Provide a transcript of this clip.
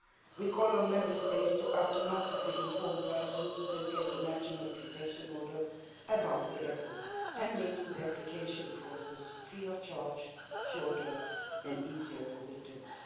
We call on Member States to automatically inform persons who get a national protection order about the EPO and making the application process free of charge, shorter and easier for victims